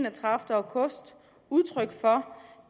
enogtredivete august udtryk for